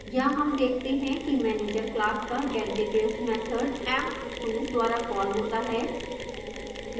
यहाँ हम देखते हैं कि manager class का getdetails मैथड emp2 द्वारा कॉल होता है